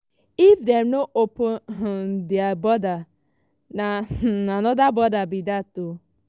if dem no open um dia borders na um anoda problem bi dat."